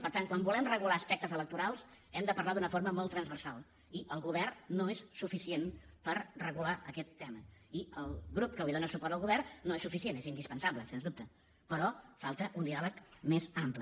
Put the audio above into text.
i per tant quan volem regular aspectes electorals hem de parlar d’una forma molt transversal i el govern no és suficient per regular aquest tema i el grup que li dóna suport al govern no és suficient és indispensable sens dubte però falta un diàleg més ampli